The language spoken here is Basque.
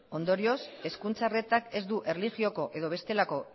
ondorioz hezkuntza arretak ez du erlijioko edo bestelako